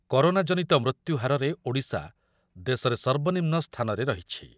Corona ଜନିତ ମୃତ୍ୟୁହାରରେ ଓଡିଶା ଦେଶରେ ସର୍ବନିମ୍ନ ସ୍ଥାନରେ ରହିଛି ।